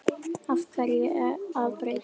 Af hverju að breyta?